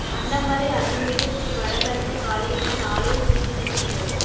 அன்னமலை அருள்மிகு ஸ்ரீ வட பத்திரகாளியம்மன் ஆலய தீமிதிப்பு நிகழ்வு